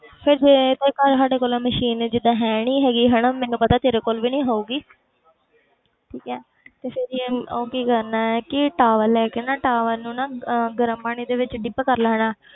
ਫਿਰ ਜੇ ਤੇ ਘਰ ਸਾਡੇ ਕੋਲੇ machine ਜਿੱਦਾਂ ਹੈ ਨੀ ਹੈਗੀ ਹਨਾ ਮੈਨੂੰ ਪਤਾ ਤੇਰੇ ਕੋਲ ਵੀ ਨੀ ਹੋਊਗੀ ਠੀਕ ਹੈ ਤੇ ਫਿਰ ਯਾਰ ਉਹ ਕੀ ਕਰਨਾ ਹੈ ਕਿ towel ਲੈ ਕੇ ਨਾ towel ਨੂੰ ਨਾ ਅਹ ਗਰਮ ਪਾਣੀ ਦੇ ਵਿੱਚ dip ਕਰ ਲੈਣਾ,